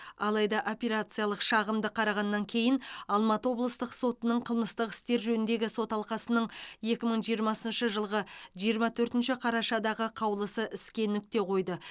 алайда апелляциялық шағымды қарағаннан кейін алматы облыстық сотының қылмыстық істер жөніндегі сот алқасының екі мың жиырмасыншы жылғы жиырма төртінші қарашадағы қаулысы іске нүкте қойды